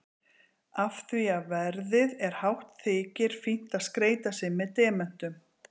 Af því að verðið er hátt þykir fínt að skreyta sig með demöntum.